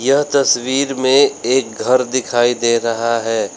यह तस्वीर में एक घर दिखाई दे रहा है।